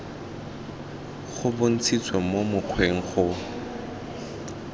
go bontshitswe mo mokgweng go